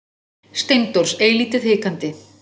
Steindórs eilítið hikandi.